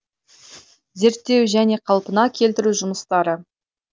зерттеу және қалпына келтіру жұмыстары